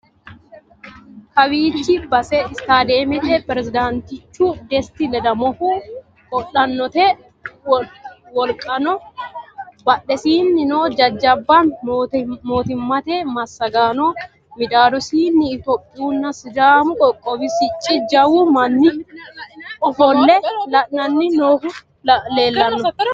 Kawichchi basse istadiyemette pirezidaanitichu desiti ledamohu, qodhanotte woliqqano, badhesenino jajjabba mootimate massaggano middadosini itiyopiyunna sidaammu qoqqowwi sicci jawwu manni offole la'anni noohu leelanno